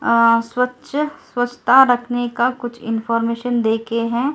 स्वस्थ्य रखने का कुछ इनफॉर्मेशन देखे है में।